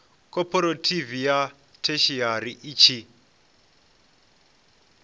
khophorethivi ya theshiari i tshi